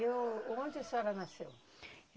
E onde a senhora nasceu?